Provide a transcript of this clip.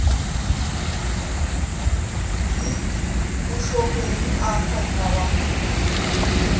hi vuxoperi eka nkoka wa